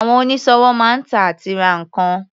Àwọn onísọ̀wò máa ń tà àti ra nǹkan.